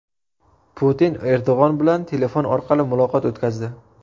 Putin Erdo‘g‘on bilan telefon orqali muloqot o‘tkazdi.